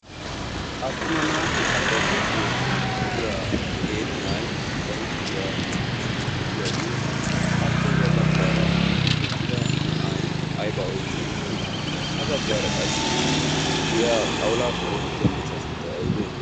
attuma naati alleeqettiyoosuwan de7iya qeeri na7ai ba huuphiyaa qanxxsiiddi de7iyaagee appe ya baggaara eqqida na7ai aibaa oiqqi eqqidee? ha baggaara qassi de77iya xawulaappe oosettiya miishshaa sunttai aibee?